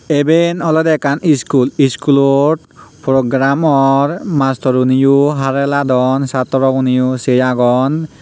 iben olodey ekkan iskul iskulot program or mastoruneyo hara hiladon satro guneyo sei agon.